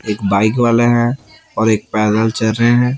एक बाइक वाले हैं और एक पैदल चल रहे हैं।